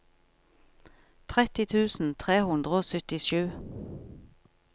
tretti tusen tre hundre og syttisju